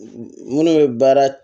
Minnu bɛ baara